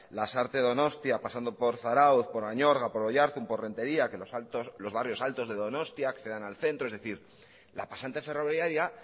lasarte donostia pasando por zarautz por añorga por oiarzun por rentería que los barrios altos de donostia accedan al centro es decir la pasante ferroviaria